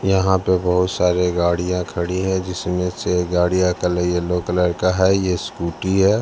यहाँ पे बहुत सारी गाड़ियाँ खड़ी हैं जिसमे से एक गाड़ी का कलर येल्लो कलर का हैं ये स्कूटी हैं।